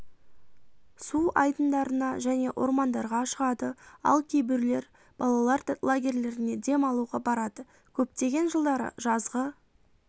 су айдындарына және ормандарға шығады ал кейбіреулер балалар лагерлеріне дем алуға барады көптеген жылдары жазғы